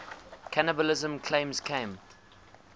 cannibalism claims came